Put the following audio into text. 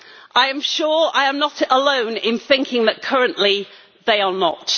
I am sure I am not alone in thinking that currently they are not.